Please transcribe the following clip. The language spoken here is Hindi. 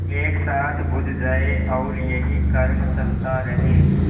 एक साथ बुझ जाएँ और यही क्रम चलता रहे